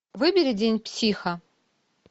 выбери день психа